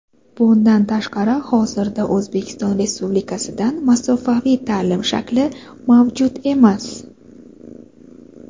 Bundan tashqari hozirda O‘zbekiston Respublikasidan masofaviy taʼlim shakli mavjud emas.